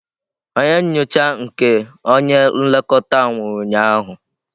Onye nyocha nke onye nlekọta anwụ ụnyahụ.